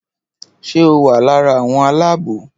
Ṣé o wà lára àwọn aláàbò?